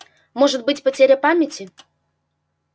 может быть потеря памяти